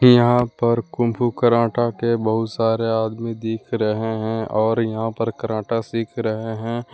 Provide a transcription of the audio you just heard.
यहां पर kung fu karate के बहुत सारे आदमी दिख रहे है और यहां पे बहुत सारे आदमी दिखा रहे हैं और यहां पे कराटा सिख रहे हैं।